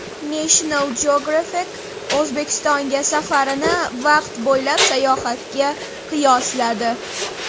National Geographic O‘zbekistonga safarini vaqt bo‘ylab sayohatga qiyosladi .